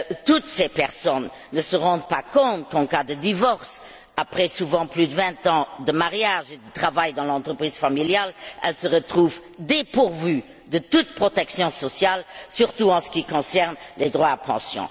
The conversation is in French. Toutes ces personnes ne se rendent pas compte de ce qu'en cas de divorce, souvent après plus de vingt ans de mariage et de travail dans l'entreprise familiale, elles se retrouvent dépourvues de toute protection sociale, surtout en ce qui concerne les droits à pension.